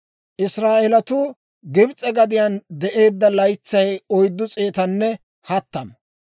Israa'eelatuu Gibs'e gadiyaan de'eedda laytsay oyddu s'eetanne hattama.